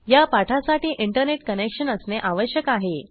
या पाठासाठी internet connection असणे आवश्यक आहे